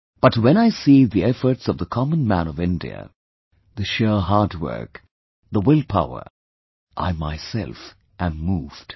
But when I see the efforts of the common man of India, the sheer hard work, the will power, I myself am moved